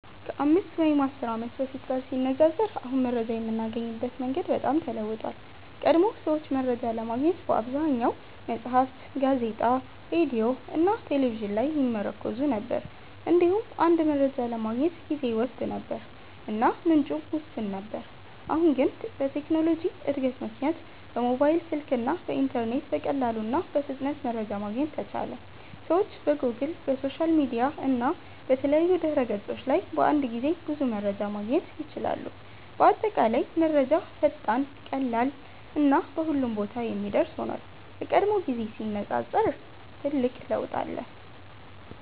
ከ5 ወይም 10 ዓመት በፊት ጋር ሲነፃፀር አሁን መረጃ የምናገኝበት መንገድ በጣም ተለውጧል። ቀድሞ ሰዎች መረጃ ለማግኘት በአብዛኛው መጽሐፍት፣ ጋዜጣ፣ ሬዲዮ እና ቴሌቪዥን ላይ ይመርኩዙ ነበር። እንዲሁም አንድ መረጃ ለማግኘት ጊዜ ይወስድ ነበር እና ምንጩም ውስን ነበር። አሁን ግን በቴክኖሎጂ እድገት ምክንያት በሞባይል ስልክ እና በኢንተርኔት በቀላሉ እና በፍጥነት መረጃ ማግኘት ተቻለ። ሰዎች በጎግል፣ በሶሻል ሚዲያ እና በተለያዩ ድህረ ገጾች ላይ በአንድ ጊዜ ብዙ መረጃ ማግኘት ይችላሉ። በአጠቃላይ ዛሬ መረጃ ፈጣን፣ ቀላል እና በሁሉም ቦታ የሚደርስ ሆኗል፤ ከቀድሞው ጊዜ ጋር ሲነፃፀር ትልቅ ለውጥ አለ።